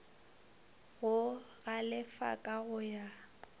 go galefa ka go ya